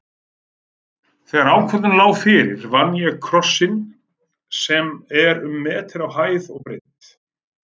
Þegar ákvörðun lá fyrir vann ég krossinn sem er um meter á hæð og breidd.